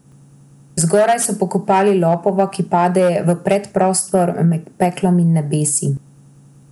Zgoraj so pokopali lopova, ki pade v predprostor med peklom in nebesi.